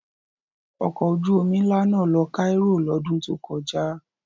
Ọkọ̀ ojú-omi ńlá náà lọ Cairo lọ́dún tó kọjá.